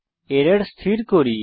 error স্থির করি